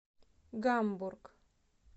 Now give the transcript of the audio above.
гамбург